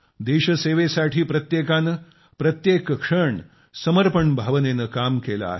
देशसेवेसाठी प्रत्येकाने प्रत्येक क्षण समर्पण भावनेने काम केले आहे